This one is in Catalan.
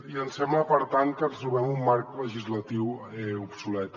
i ens sembla per tant que ens trobem amb un marc legislatiu obsolet